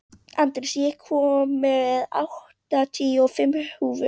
Andreas, ég kom með áttatíu og fimm húfur!